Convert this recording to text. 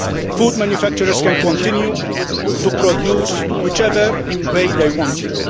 Food manufacturers can continue to produce whichever way they want to.